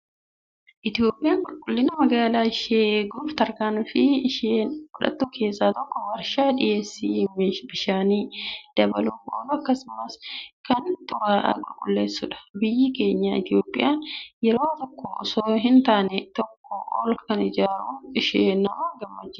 Itoophiyaan qulqullina magaalaa ishee eeguuf tarkaanfii isheen fudhattu keessaa tokko warshaa dhiyeessii bishaanii dabaluuf oolu akkasumas kan xuraa'aa qulleessudha. Biyyi keenya Itoophiyaan yeroo tokko osoo hin taane tokkoo ol kana ijaaruun ishee nama gammachiisa.